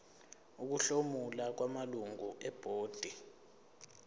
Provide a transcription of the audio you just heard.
ukuhlomula kwamalungu ebhodi